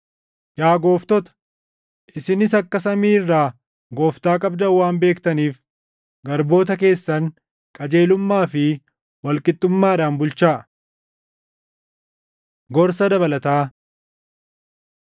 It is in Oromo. Yaa gooftota, isinis akka samii irraa Gooftaa qabdan waan beektaniif, garboota keessan qajeelummaa fi wal qixxummaadhaan bulchaa. Gorsa Dabalataa